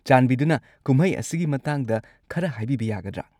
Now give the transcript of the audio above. ꯆꯥꯟꯕꯤꯗꯨꯅ ꯀꯨꯝꯍꯩ ꯑꯁꯤꯒꯤ ꯃꯇꯥꯡꯗ ꯈꯔ ꯍꯥꯏꯕꯤꯕ ꯌꯥꯒꯗ꯭ꯔꯥ?